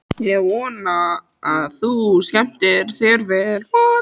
Ég vona að þú skemmtir þér vel!